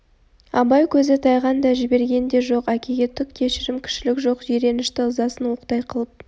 абай көзі тайған да жібіген де жоқ әкеге түк кешірім кішілік жоқ жиренішті ызасын оқтай қылып